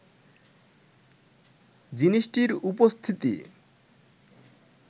জিনিসটির উপস্থিতি